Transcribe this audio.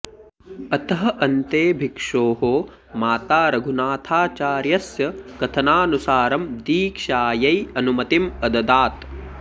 अतः अन्ते भिक्षोः माता रघुनाथाचार्यस्य कथनानुसारं दीक्षायै अनुमतिम् अददात्